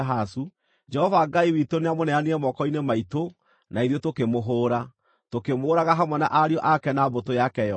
Jehova Ngai witũ nĩamũneanire moko-inĩ maitũ na ithuĩ tũkĩmũhũũra, tũkĩmũũraga hamwe na ariũ ake na mbũtũ yake yothe.